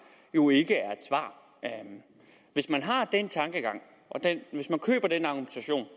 jo ikke er et svar hvis man har den tankegang og køber den argumentation